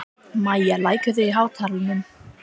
Mæja, lækkaðu í hátalaranum.